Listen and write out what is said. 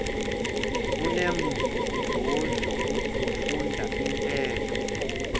kunenzuzo ukufunda intetho